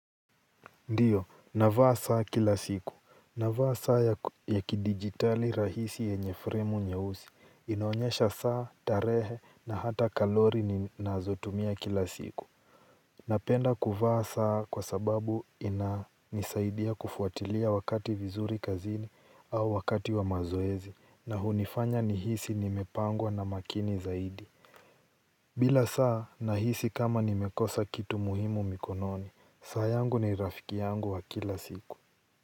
Ndiyo, navaa saa kila siku. Navaa saa ya kidigitali rahisi yenye fremu nyeusi. Inaonyesha saa, tarehe, na hata kalori ninazotumia kila siku. Napenda kuvaa saa kwa sababu inanisaidia kufuatilia wakati vizuri kazini au wakati wa mazoezi na unifanya nihisi nimepangwa na makini zaidi. Bila saa nahisi kama nimekosa kitu muhimu mikononi. Saa yangu ni rafiki yangu wa kila siku.